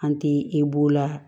An ti e b'o la